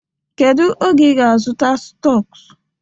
Kedu oge ị ga-azụta stọk?